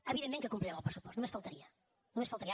evidentment que complirem el pressupost només faltaria només faltaria